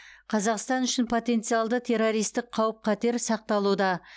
қазақстан үшін потенциалды террористік қауіп қатер сақталуда